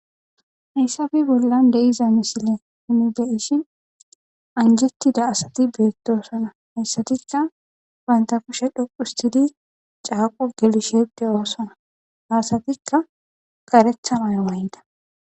hayssafe bollan de7iza misile unibeyishin anjettida asati beettoosana hayssatikka wantapushe dhoqustidi caaqo gelishede oosana hasatikka qaretha mayo mayida